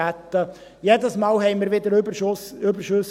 Jedes Mal schrieben wir wieder Überschüsse.